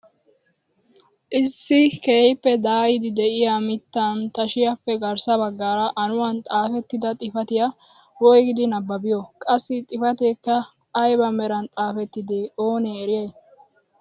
Issi keehippe daayidi de'iyaa mittaan tashshiyaappe garssa baggaara anuwaan xaafettida xifatiyaa woygidi nababiyoo? qassi xifateekka ayba meran xafettidee oonee eriyay?